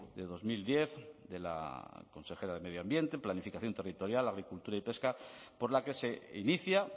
de dos mil diez de la consejera de medio ambiente planificación territorial agricultura y pesca por la que se inicia